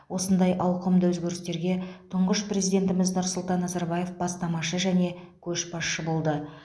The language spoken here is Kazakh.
осындай ауқымды өзгерістерге тұңғыш президентіміз нұрсұлтан назарбаев бастамашы және көшбасшы болды